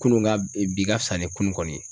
Kunun ka bi ka fisa ni kunun kɔni ye.